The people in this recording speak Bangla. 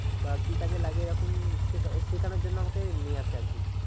বা কি কাজে লাগে এইরকম সেকা শিখানোর জন্য আমাকে নিয়ে আসে আরকি